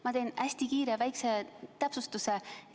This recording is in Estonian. Ma teen hästi kiire väikse täpsustuse.